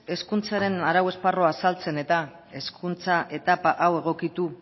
hezkuntzaren arau esparrua azaltzen eta hezkuntza etapa hau egokitu